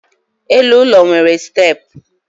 elu ụlọ nwere steepụ